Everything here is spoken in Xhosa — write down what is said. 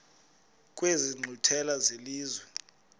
kwezi nkqwithela zelizwe